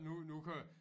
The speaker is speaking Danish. Nu nu kan